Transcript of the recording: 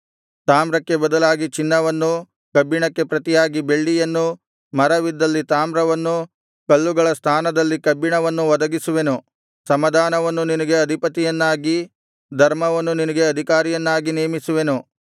ತಾಮ್ರಕ್ಕೆ ಬದಲಾಗಿ ಚಿನ್ನವನ್ನು ಕಬ್ಬಿಣಕ್ಕೆ ಪ್ರತಿಯಾಗಿ ಬೆಳ್ಳಿಯನ್ನು ಮರವಿದ್ದಲ್ಲಿ ತಾಮ್ರವನ್ನು ಕಲ್ಲುಗಳ ಸ್ಥಾನದಲ್ಲಿ ಕಬ್ಬಿಣವನ್ನು ಒದಗಿಸುವೆನು ಸಮಾಧಾನವನ್ನು ನಿನಗೆ ಅಧಿಪತಿಯನ್ನಾಗಿ ಧರ್ಮವನ್ನು ನಿನಗೆ ಅಧಿಕಾರಿಯನ್ನಾಗಿ ನೇಮಿಸುವೆನು